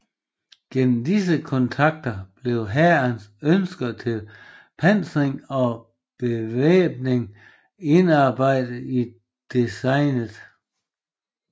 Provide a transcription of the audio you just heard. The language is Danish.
Gennem disse kontakter blev hærens ønsker til pansring og bevæbning indarbejdet i designet